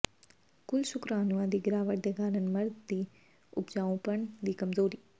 ਕੁੱਲ ਸ਼ੁਕਰਾਣੂਆਂ ਦੀ ਗਿਰਾਵਟ ਦੇ ਕਾਰਨ ਮਰਦ ਦੀ ਉਪਜਾਊਪਣ ਦੀ ਕਮਜੋਰੀ